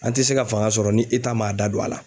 An te se ka fanga sɔrɔ ni m'a da don a la.